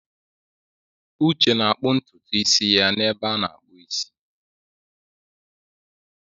Uche na-akpụ ntutu isi ya n'ebe a na-akpụ isi.